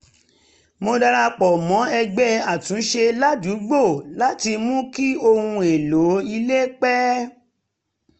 mo darapọ̀ mọ́ ẹgbẹ́ àtúnṣe ládùúgbò láti mú kí ohun èlò ilé pẹ́